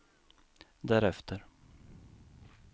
därefter